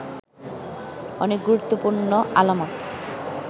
অনেক গুরুত্বপূর্ণ আলামত